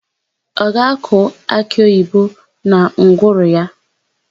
Ọ ga-akụ akịoyibo na ngwuru ya?